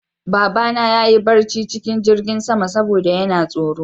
Babana ya yi barci cikin jingin sama saboda yana tsoro